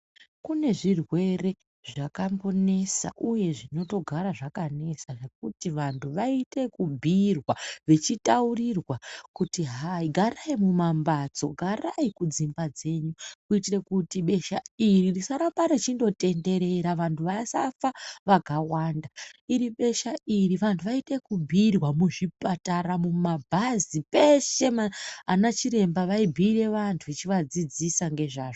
Kune zvirwere zvakambonesa uye zvinotogara zvakanesa ,zvekuti vantu vayite ekubhuyirwa ,vechitaurirwa kuti hayi garayi mumambatso, garayi kudzimba dzenyu kuyitire kuti besha iri risarambe rechindotenderera vantu vasafa vakawanda, iri besha iri vantu vayite ekutobhuyirwa muzvipatara, mumabhazi, peshe anachiremba vayibhure vantu vachivadzidzisa ngezvazvo.